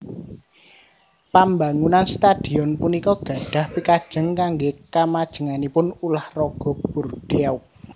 Pambangunan stadhion punika gadhah pikajeng kanggé kamajenganipun ulah raga Bordeaux